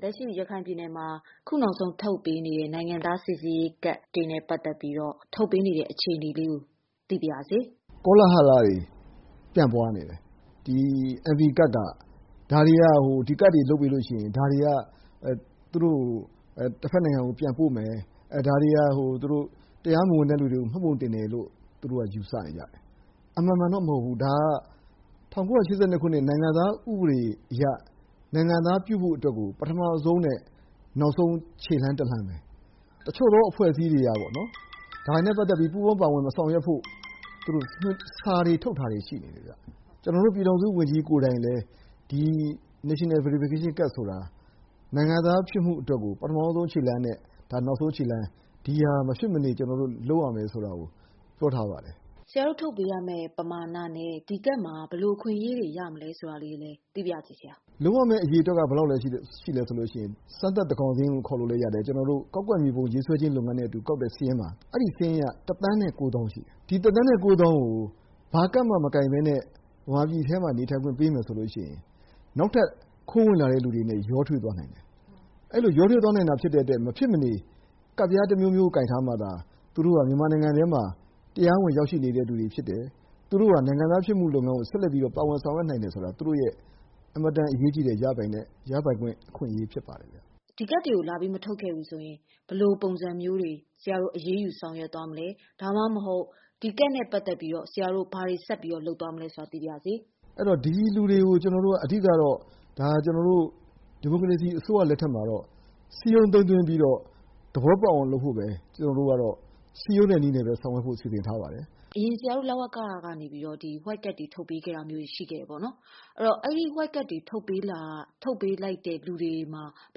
လက်ရှိရခိုင်ပြည်နယ်မှာ အခုနောက်ဆုံးထုတ်ပေးနေတဲ့ နိုင်ငံသားစိစစ်ရေးကတ်တွေနဲ့ ပတ်သက်ပြီးတော့ ထုတ်ပေးနေတဲ့ အခြေနေလေးကို သိပါရစေ။ ဦးမြင့်ကြိုင်။ ။ ကောလဟာလတွေ ပြန့်ပွားနေတယ်၊ ဒီ NVC ကဒ်က ဒါတွေက ဟို ကဒ်တွေလုပ်ပြီးလို့ရှိရင် ဒါတွေက သူတို့ကို တဖက်နိုင်ငံ ပြန်ပို့မယ်၊ ဒါတွေက သူတို့ တရားမဝင်တဲ့သူတွေကို မှတ်ပုံတင်တယ်လို့ သူတို့က ယူဆနေတယ်။ အမှန်မှန်တော့ မဟုတ်ဘူး ဒါတွေက ၁၉၈၂ ခုနှစ် နိုင်ငံသားဥပဒေအရ နိုင်ငံသားပြုဖို့အတွက်ကို ပထမဦးဆုံးနဲ့ နောက်ဆုံး ခြေလှမ်းတလှမ်းပဲ တချို့သောာ အဖွဲ့အစီးတွေက ဒါတွေနဲ့ ပတ်သက်ပြီး ပူးပေါင်းပါဝင် မဆောင်ရွက်ဖို့ သူတို့ စာတွေ ထုတ်ထားတာတွေ ရှိနေတယ်တဲ့။ ကျနော်တို့ ပြည်ထောင်စုဝန်ကြီးကိုယ်တိုင်လည်း National Verification card ဆိုတာ နိုင်ငံသားဖြစ်ဖို့အတွက်ကို ပထမဦးဆုံးနဲ့ နောက်ဆုံး ခြေလှမ်းတလှမ်းပဲ၊ ဒီဟာမဖြစ်မနေ ကျနော်တို့ လုပ်ရမယ်ဆိုတာကို ပြောထားပါတယ်။ မမေခ။ ။ဆရာတို့ ထုတ်ပေးရမယ့် ပမာဏနဲ့ ဒီ ကဒ်မှာ ဘယ်လိုအခွင့်အရေးလေးတွေ ရမလည်းဆိုတာလည်း သိပါရစေဆရာ။ ဦးမြင့်ကြိုင်။ ။ လုပ်ရမယ့် အရေအတွက်က ဘယ်လောက်အထိ ရှိသလဲဆိုရင် ကျနော်တို့ စမ်းသပ် သန်းခေါင်စာရင်းလို့လဲခေါ်လို့ရတဲ့ စာရင်းအရ ၁ သန်းနဲ့ ကိုးသောင်းရှိတယ်။ ၁ သန်းနဲ့ ကိုးသောင်းကို ဘာကဒ်မှ မကိုင်ပဲနဲ့ မြန်မာပြန်အထဲမှာ နေထိုင်ခွင့်ပေးမယ်ဆိုရင် နောက်ထပ် ခိုးဝင်လာတဲ့ လူတွေနဲ့ ရောထွေးသွားနိုင်တယ်။ အဲလိုရောထွေးသွားနိုင်တာဖြစ်တဲ့အတွက် မဖြစ်မနေ ကဒ် တမျိုးမျိုး ကိုင်ထားမှသာ သူတို့က မြန်မာနိုင်ငံအတွင်းမှာ တရားဝင်ရောက်ရှိနေတဲ့လူတွေဖြစ်တယ်။ သူတို့က နိုင်ငံသားဖြစ်မှုလုပ်ငန်းကို ဆက်လက်ပါဝင်ဆောင်ရွက်နိုင်တယ်ဆိုတာက သူတို့ရဲ့ အင်မတန် အရေးကြီးတဲ့ ရပိုင်ခွင့် အခွင့်အရေး ဖြစ်ပါတယ်ခင်ဗျ။ မမေခ။ ။ဒီကဒ်တွေကို လာပြီးမထုတ်ခဲ့ဘူးဆိုရင် ဘယ်လိုပုံစံမျိုးတွေ ဆရာတို့ အရေးယူဆောင်ရွက်သွားမလဲ ဒါမှမဟုတ် ဒီကဒ်နဲ့ ပတ်သက်ပြီးတော့ ဆရာတို့ ဘာတွေဆက်ပြီးတော့ လုပ်သွားမလဲဆိုတာ သိပါရစေ။ ဦးမြင့်ကြိုင်။ ။ အဲဒီတော့ ဒီလူတွေကို အဓိကတော့ ကျနော်တို့ ဒီမိုကရေစီအစိုးရ လက်ထက်မှာတော့ စည်းရုံးသိမ်းသွင်းသွားပြီးတော့ သဘောပေါက်အောင်လုပ်ဖို့ပဲ ကျနော်တို့ကတော့ စည်းရုံးတဲ့နည်းနဲ့ပဲ၊ ဆောင်ရွက်ဖို့စီစဉ်ထားပါတယ်။ မမေခ။ ။အရင်ဆရာတို့ လဝက ကနေပြီးတော့ white card တွေထုတ်ပေးခဲ့တာတွေရှိခဲ့တယ်ပေါ့နော်၊ ဆိုတော့ အဲဒါ white card တွေထုတ်ပေးလိုက်တဲ့လူတွေမှာ ဘ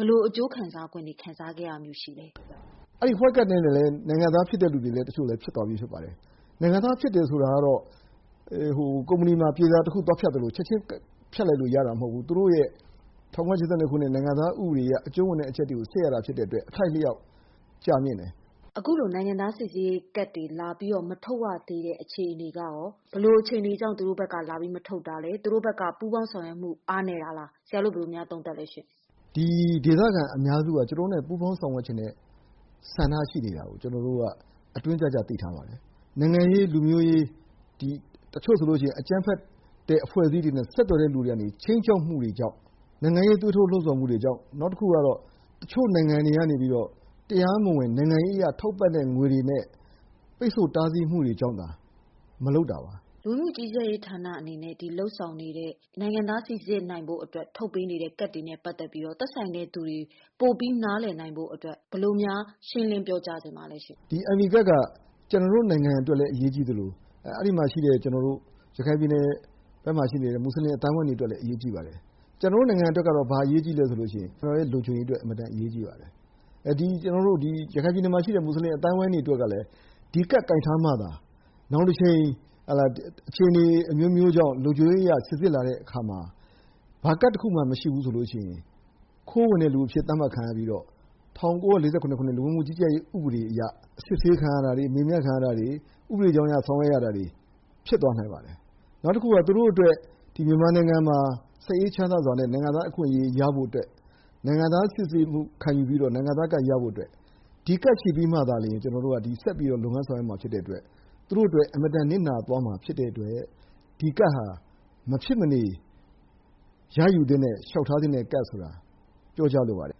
ယ်လိုအကျိုးခံစားခွင့်တွေ ခံစားရတာမျိုးရှိသလဲ။ ဦးမြင့်ကြိုင်။ ။ အဲဒီ white cardနဲ့လည်း နိုင်ငံသား တချို့ဖြစ်သွားတဲ့လူတွေရှိပါတယ်။ နိုင်ငံသားဖြစ်တယ်ဆိုတာကတော့ ကုမ္ပဏီမှာ ပြေစာတခုသွားဖြတ်သလို ချက်ခြင်း ဖြတ်လိုက်လို့ရတာမဟုတ်ဘူး သူတို့ရဲ့ ၁၉၈၂ ခုနှစ် နိုင်ငံသားဥပဒေအရ အကျုံးဝင်တဲ့အချက်တွေကို စစ်ရတာဖြစ်တဲ့အတွက် အထိုက်အလျောက်ကြာမြင့်တယ်။ မမေခ။ ။အခုလို နိုင်ငံသားစိစစ်ရေးကဒ်တွေလာပြီးတော့ မထုတ်ရသေးတဲ့ အခြေအနေကရော၊ ဘယ်လိုအခြေအနေကြောင့် သူတို့ဘက်က လာပြီးမထုတ်တာလဲ၊ သူတို့ဘက်က ပူးပေါင်းဆောင်ရွက်မှု အားနည်းတာလား။ ဆရာတို့ ဘယ်လိုများသုံးသပ်သလဲရှင့်။ ဦးမြင့်ကြိုင်။ ။ ဒီဒေသခံအများစုက ကျနော်တို့နဲ့ ပူးပေါင်းဆောင်ရွက်ချင်တဲ့ ဆန္ဒရှိတာကို ကျနော်တိုက အတွင်းကျကျ သိထားပါတယ်။ နိုင်ငံရေး ၊ လူမျိုးရေး၊ တချို့ဆိုရင် အကြမ်းဖက်တဲ့ အဖွဲ့အစည်းတွေနဲ့ ဆက်သွယ်တဲ့ လူတွေကနေ ခြိမ်းခြောက်မှုတွေကြောင့် နိုင်ငံရေး သွေးထိုးလှုံ့ဆော်မှုတွေကြောင့် ၊ နောက်ပြီး တချို့နိုင်ငံတွေကနေ တရားမဝင် နိုင်ငံရေးအရ ထောက်ပံ့တဲ့ငွေတွေနဲ့ ပိတ်ဆို့တားဆီးမှုတွေကြောင့်သာ မလုပ်တာပါ။ မမေခ။ ။လူဝင်မှုကြီးကြပ်ရေး ဌာနကနေ လုပ်ဆောင်နေတဲ့ နိုင်ငံသားစီစစ်နိုင်ဖို့ အတွက် ထုတ်ပေးနေတဲ့ ကဒ်တွေနဲ့ ပတ်သက်ပြီးတော့ရော သက်ဆိုင်တဲ့သူတွေ ပိုပြီးနားလည်နိုင်ဖို့အတွက် ဘယ်လို များ ရှင်းလင်းပြောကြားချင်ပါသလဲရှင့်။ ဦးမြင့်ကြိုင်။ ။ ဒီ NV ကဒ်က ကျနော်တို့ နိုင်ငံအတွက်လည်း အရေးကြီးသလို အဲဒီမှာ ရှိတဲ့ ကျနော်တို့ ရခိုင်ပြည်နယ်ဘက်မှာ ရှိနေတဲ့ မွတ်ဆလင်အသိုင်းအဝိုင်းတွေအတွက်လည်း အရေးကြီးပါတယ်။ ကျနော်တို့နိုင်ငံအတွက်က ဘာအရေးကြီးသလဲဆိုရင် နိုင်ငံ့လုံခြုံရေးက အရေးကြီးပါတယ်။ ဒီ ရခိုင်ပြည်နယ်မှာရှိတဲ့ မွတ်ဆလင်အသိုင်းအဝိုင်းတွေအတွက်ကလည်း ဒီကဒ်ကိုင်ထားမှသာ နောင်တချိန်အခြေအနေ အမျိုးမျိုးကြောင့် လုံခြုံရေးအရ စိစစ်လာတဲ့အခါမှာ ဘာကဒ်တခုမှ မရှိဘူးဆိုရင် ခိုးဝင်တဲ့လူအဖြစ် သတ်မှတ်ခံရပြီးတော့ ၁၉၄၇ ခုနှစ် လူဝင်မှုကြီးကြပ်ရေး ဥပဒေအရ အစစ်ဆေးခံရတာတွေ၊ မေးမြန်းခံရတာတွေ ဥပဒေကြောင်းအရ ဆောင်ရွက်တာတွေ ဖြစ်သွားနိုင်ပါတယ်။ နောက်တခုက သူတို့အတွက် မြန်မာနိုင်ငံမှာ စိတ်အေးချမ်းသာစွာနဲ့ နိုင်ငံသားအခွင့်အရေး ရဖို့အတွက် နိုင်ငံသား စိစစ်မှုခံယူပြီးတော့ နိုင်ငံသားကဒ်ရဖို့အတွက် ဒီကဒ်ရှိပြီမှသာ ကျနော်တို့က ဆက်ပြီးတော့ လုပ်ငန်းဆောင်ရွက်ရမှာ သူတို့အတွက် အင်မတန် နစ်နာသွားမှာ ဖြစ်တဲ့အတွက် ဒီကဒ်ဟာ မဖြစ်မနေ ရယူသသင့်တဲ့ လျှောက်ထားသင့်တဲ့ကဒ်ဆိုတာ ပြောကြားလိုပါတယ်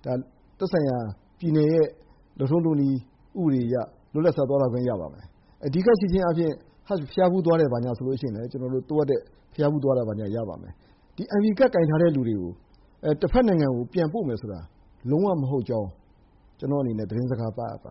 ။ ဒါသက်ဆိုင်ရာ ပြည်နယ်ရဲ့ လုပ်ထုံးလုပ်နည်း ဥပဒေအရ လွတ်လပ်စွာသွားလာခွင့်ရပါမယ်။ ဒီကဒ်ရှိခြင်းအားဖြင့်Hajj ဘုရားဖူးသွားတယ်ဆိုရင်လည်း သွားလို့ရပါမယ်။ ဒီ NV card ကိုင်ထားတဲ့လူတွေကို တဘက်နိုင်ငံ ပြန်ပို့မယ်ဆိုတာ လုံးဝမဟုတ်ကြောင်း ကျနော့်အနေနဲ့ သတင်းစကားပါးအပ်ပါ